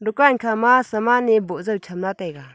dukan khama saman e boh jao taiga.